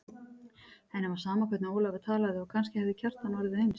Henni var sama hvernig Ólafur talaði og kannski hefði Kjartan orðið eins.